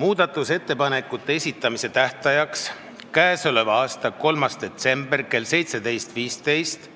Muudatusettepanekute esitamise tähtajaks, k.a 3. detsembril kella 17.15-ks